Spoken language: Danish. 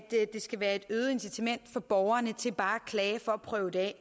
det skal være et øget incitament for borgerne til bare at klage for at prøve det af